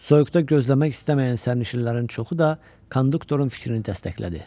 Soyuqda gözləmək istəməyən sərnişinlərin çoxu da konduktorun fikrini dəstəklədi.